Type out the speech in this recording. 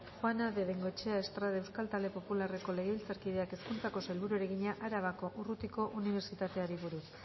juana de bengoechea estrade euskal talde popularreko legebiltzarkideak hezkuntzako sailburuari egina arabako urrutiko unibertsitateari buruz